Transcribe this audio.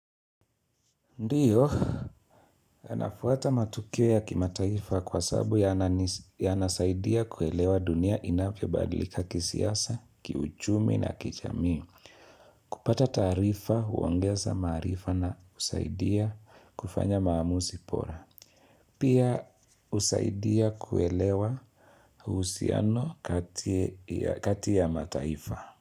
Ndio, anafuata matukio ya kimataifa kwa sababu yanasaidia kuelewa dunia inavyo badilika kisiasa, kiuchumi na kijamii. Kupata taarifa, huongeza maarifa na husaidia kufanya maamuzi bora. Pia husaidia kuelewa uhusiano kati ya mataifa.